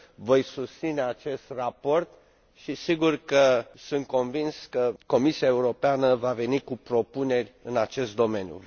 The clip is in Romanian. Voi susține acest raport și sigur că, sunt convins, Comisia Europeană va veni cu propuneri în acest domeniu.